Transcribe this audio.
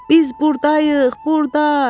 Biz burdayıq, burda,